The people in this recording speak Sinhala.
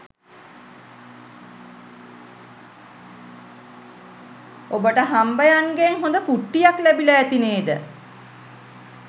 ඔබට හම්බයන්ගෙන් හොද කුට්ටියක් ලැබිල ඇති නේද